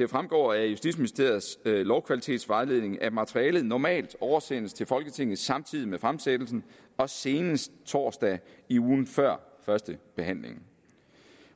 jo fremgår af justitsministeriets lovkvalitetsvejledning at materialet normalt oversendes til folketinget samtidig med fremsættelsen og senest torsdag i ugen før førstebehandlingen